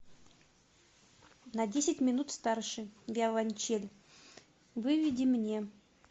на десять минут старше виолончель выведи мне